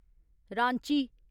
Ranchi